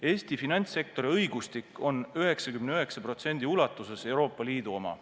Eesti finantssektori õigustik on 99% ulatuses Euroopa Liidu oma.